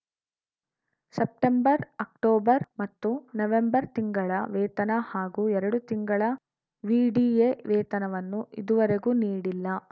September October ಮತ್ತು November ತಿಂಗಳ ವೇತನ ಹಾಗೂ ಎರಡು ತಿಂಗಳ ವಿಡಿಎ ವೇತನವನ್ನು ಇದುವರೆಗೂ ನೀಡಿಲ್ಲ